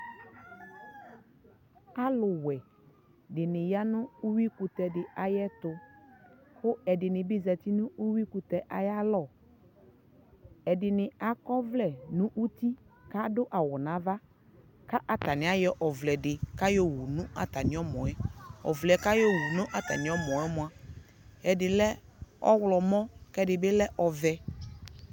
alʋ wɛ dini yanʋ ʋwi kʋtɛ di ayɛtʋ kʋ ɛdibi zati nʋ ʋwi kʋtɛ ayialɔ, ɛdini akɔ ɔvlɛ nʋ ʋti kʋ adʋ awʋ nʋ aɣa kʋ atani ayɔ ɔvlɛ di, atani ayɔ wʋ nʋ atami ɔmɔɛ, ɔvlɛ kʋ atani ayɔ wʋ nʋ atami ɛmɔ mɔa ɛdi lɛ ɔwlɔmʋ kʋ ɛdi bi lɛ ɔvɛ